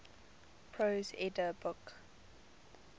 prose edda book